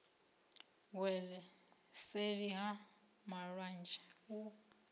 wele seli ha malwanzhe u